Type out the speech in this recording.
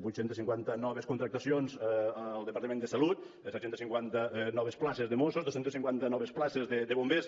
vuit cents i cinquanta noves contractacions al departament de salut de set cents i cinquanta noves places de mossos dos cents i cinquanta noves places de bombers